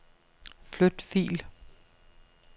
Flyt fil.